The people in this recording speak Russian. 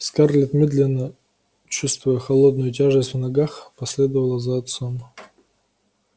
скарлетт медленно чувствуя холодную тяжесть в ногах последовала за отцом